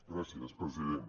gràcies president